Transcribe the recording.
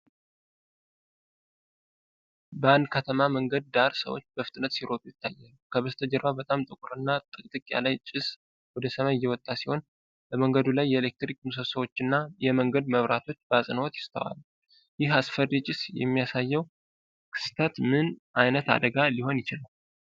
በአንድ ከተማ መንገድ ዳር ሰዎች በፍጥነት ሲሮጡ ይታያሉ። ከበስተጀርባ በጣም ጥቁርና ጥቅጥቅ ያለ ጭስ ወደ ሰማይ እየወጣ ሲሆን፤ በመንገዱ ላይ የኤሌክትሪክ ምሰሶዎችና የመንገድ መብራቶች በአጽንዖት ይስተዋላል። ይሄ አስፈሪ ጭስ የሚያሳየው ክስተት ምን ዓይነት አደጋ ሊሆን ይችላል?